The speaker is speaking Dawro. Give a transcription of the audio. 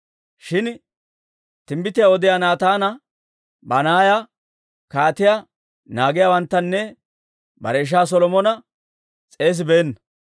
shin timbbitiyaa odiyaa Naataana, Banaaya, kaatiyaa naagiyaawanttanne bare ishaa Solomona s'eesibeenna.